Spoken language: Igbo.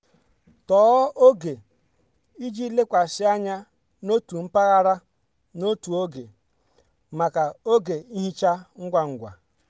tọọ oge iji lekwasị anya n'otu mpaghara n'otu oge maka oge nhicha ngwa ngwa.